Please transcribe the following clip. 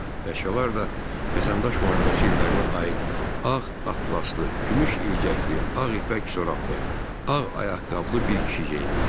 Əşyalar da Vətəndaş müharibəsi illərinə aid ağ atlaslı, gümüş ilgəkli, ağ ipək corablı, ağ ayaqqabılı bir kişi geyimi idi.